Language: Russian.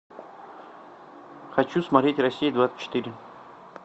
хочу смотреть россия двадцать четыре